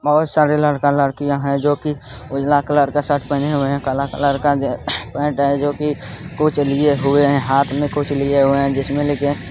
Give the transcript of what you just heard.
बहुत सारे लड़का-लड़कियां है जो की एक लाल कलर का शर्ट पहने हुए है काला कलर का पेंट जो कि कुछ लिए हुए हैं हाथ में कुछ लिए हुए हैं जिसमें --